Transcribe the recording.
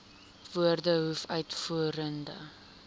woorde hoof uitvoerende